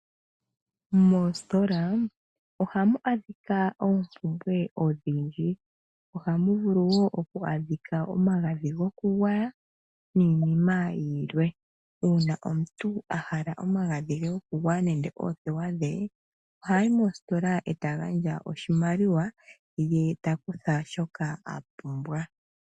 Moositola ohamu adhika oompumbwe odhindji. Ohamu vulu woo okwaadhika omagadhi gokugwaya niinima yilwe. Uuna omuntu ahala omagadhj gokugwaya ohayi mositola eta gandja oshimaliwa ye ta kutha shoka a pumbwa.